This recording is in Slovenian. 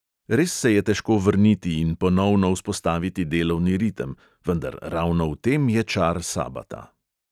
Res se je težko vrniti in ponovno vzpostaviti delovni ritem, vendar ravno v tem je čar sabata.